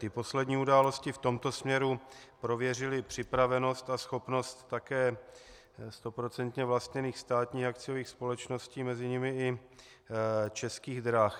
Ty poslední události v tomto směru prověřily připravenost a schopnost také stoprocentně vlastněných státních akciových společností, mezi nimi i Českých drah.